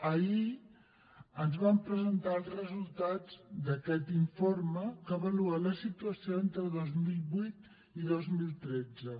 ahir ens van presentar els resultats d’aquest informe que avalua la situació entre dos mil vuit i dos mil tretze